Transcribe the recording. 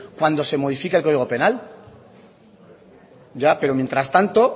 cuando se modifica el código penal ya pero mientras tanto